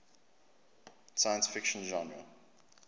science fiction genre